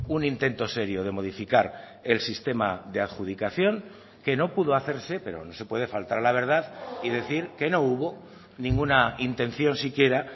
un intento serio de modificar el sistema de adjudicación que no pudo hacerse pero no se puede faltar a la verdad y decir que no hubo ninguna intención siquiera